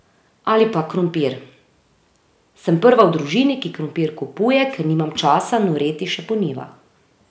Ali pa krompir: 'Sem prva v družini, ki krompir kupuje, ker nimam časa noreti še po njivah.